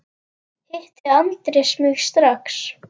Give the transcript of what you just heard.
Hitti Andrés mig strax.